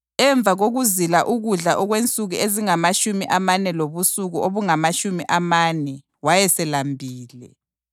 Emva kokuzila ukudla okwensuku ezingamatshumi amane lobusuku obungamatshumi amane wayeselambile.